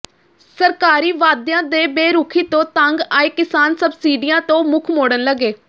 ਸਰਕਾਰੀ ਵਾਅਦਿਆਂ ਦੇ ਬੇਰੁਖ਼ੀ ਤੋਂ ਤੰਗ ਆਏ ਕਿਸਾਨ ਸਬਸਿਡੀਆਂ ਤੋਂ ਮੁੱਖ ਮੋੜਨ ਲੱਗੇ